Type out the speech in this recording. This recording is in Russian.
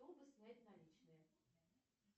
чтобы снять наличные